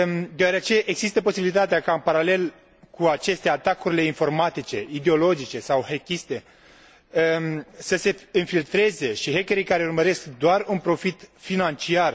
Deoarece există posibilitatea ca, în paralel cu aceste atacuri informatice, ideologice sau hackiste, să se infiltreze și hackerii care urmăresc doar un profit financiar.